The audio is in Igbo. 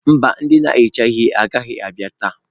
Mba ndị na-ehicha ihe agaghị abịa taa.